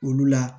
Olu la